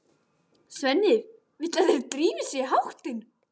Svenni vill að þeir drífi sig í háttinn.